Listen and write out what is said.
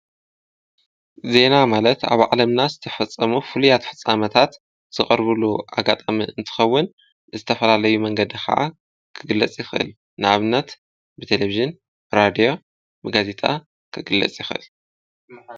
ዜና ማለት ኣብ ዓለምና ዝተፈፀሙ ፍሉያት ፍፃመታት ዝቐርብሉ ኣጋጣሚ እንትኸውን ዝተፈላለዩ መንገዲ ካዓ ክግለፅ ይኽእል ንኣብነት ብተለቪዥን ራድዮ ጋዜጣ ክግለፅ ይኽእል።